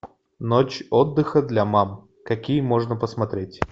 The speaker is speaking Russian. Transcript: ночь отдыха для мам какие можно посмотреть